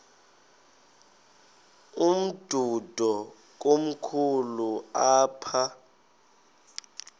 umdudo komkhulu apha